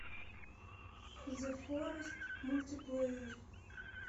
зе форест мультиплеер